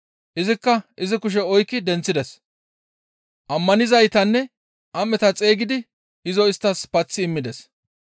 Izikka izi kushe oykki denththides. Ammanizaytanne am7eta xeygidi izo isttas paththi immides.